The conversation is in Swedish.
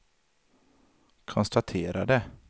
konstaterade